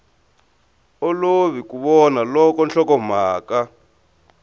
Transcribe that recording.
olovi ku vona loko nhlokomhaka